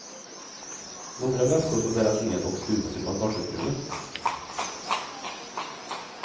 Några väskor får bäras ned och stuvas i bagageutrymmet.